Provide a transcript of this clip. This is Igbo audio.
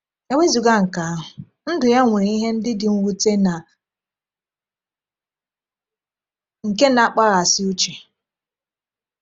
E wezụga nke ahụ, ndụ ya nwere ihe ndị dị mwute na nke na-akpaghasị uche.